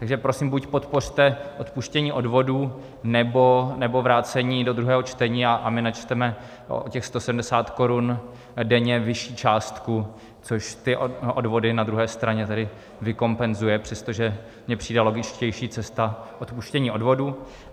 Takže prosím, buď podpořte odpuštění odvodů, nebo vrácení do druhého čtení, a my načteme o těch 170 korun denně vyšší částku, což ty odvody na druhé straně tedy vykompenzuje, přestože mi přijde logičtější cesta odpuštění odvodů.